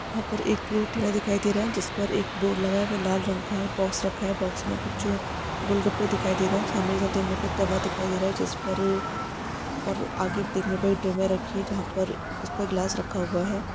यहाँ पर एक ठेला दिखाई दे रहा हैं जिस पर एक बोर्ड लगा वे लाल रंग का हैं बॉक्स रखा हुआ हैं बॉक्स मे कुछ गोलगप्पे दिखाई दे रहे हैं सामने के ठेले पर तवा दिखाई दे रहा हैं जिस पर और आगे देखने पर ड्रमें रखी हैं जहाँ पर उस पर गिलास रखा हुआ हैं।